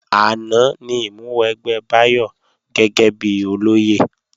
Àná ni ìmúwẹgbẹ́ Báyọ̀ gẹ́gẹ́bí olóyè